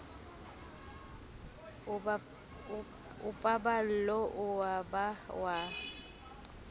a paballo ao ba a